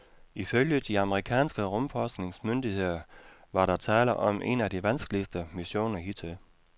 Ifølge de amerikanske rumforskningsmyndigheder var der tale om en af de vanskeligste missioner hidtil.